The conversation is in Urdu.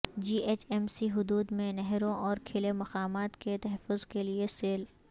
جی ایچ ایم سی حدود میں نہروں اور کھلے مقامات کے تحفظ کیلئے سیل